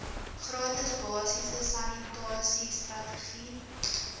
gratis basiese sanitasiestrategie